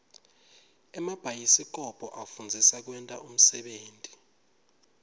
emabhayisikobho afundzisa kwenta unsebenti